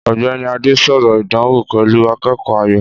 Ọ̀gbẹ́ni Adé sọ̀rọ̀ ìdánwò pẹ̀lú akẹ́kọ̀ọ́ Ayọ̀.